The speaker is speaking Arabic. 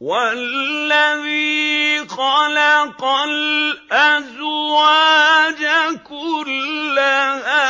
وَالَّذِي خَلَقَ الْأَزْوَاجَ كُلَّهَا